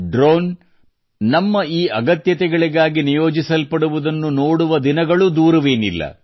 done ನಮ್ಮ ಈ ಅಗತ್ಯಗಳಿಗಾಗಿ ನಿಯೋಜಿಸಲ್ಪಡುವುದನ್ನು ನೋಡುವ ದಿನ ದೂರವೇನಿಲ್ಲ